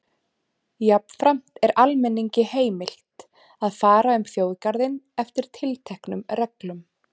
Jafnframt er almenningi heimilt að fara um þjóðgarðinn eftir tilteknum reglum.